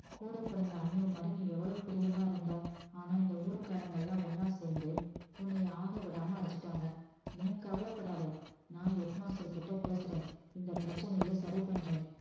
கூடப் பிறந்த அண்ணன் மாதிரி நீ எவ்வளவு பிரியமா இருந்த ஆனா இந்த ஊர்க்காரங்க எல்லாம் ஒண்ணா சேர்ந்து உன்னைய ஆக விடாம அடிச்சுட்டாங்க நீ கவலைப்படாத நான் head master கிட்ட பேசுறேன் இந்த பிரச்சனைய சரி பண்றேன்